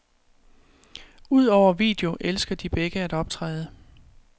Udover video elsker de begge at optræde.